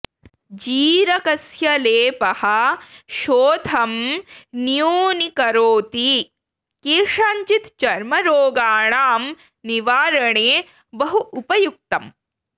जीरकस्य लेपः शोथं न्य़ूनिकरोति केषाञ्चित् चर्मरोगाणां निवारणे बहु उपयुक्तम्